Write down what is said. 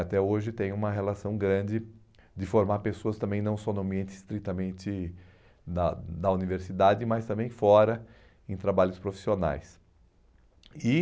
Até hoje tem uma relação grande de formar pessoas também não só no ambiente estritamente da da universidade, mas também fora, em trabalhos profissionais. E